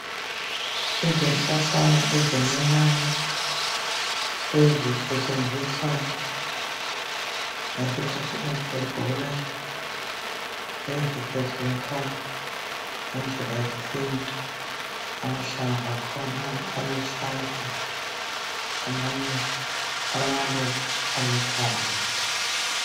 Izihlahlana ezincinyane ezisetshenziswa ngesikhathi umuntu egula ezisetshenziswa ngedlela yesintu amahlamvu akhona aluhlaza amanye alamaluba aluthanga.